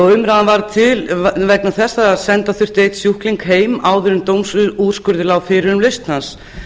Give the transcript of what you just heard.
umræðan varð til vegna þess að senda þurfti einn sjúkling heim áður en dómsúrskurður lá fyrir um lausn hans